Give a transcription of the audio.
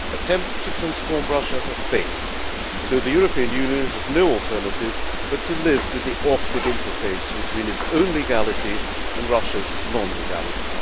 Attempts to transform Russia have failed, so the European Union has no alternative but to live with the awkward interface between its own legality and Russia's non legality.